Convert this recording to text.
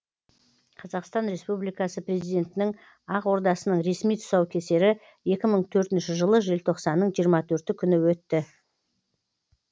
қазақстан республикасы президентінің ақ ордасының ресми тұсаукесері екі мың төртінші жылы желтоқсанның жиырма төрті күні өтті